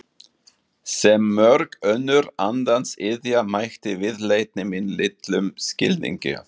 Sem mörg önnur andans iðja mætti viðleitni mín litlum skilningi.